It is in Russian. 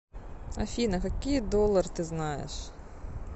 афина какие доллар ты знаешь